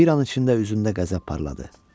Bir an içində üzündə qəzəb parladı.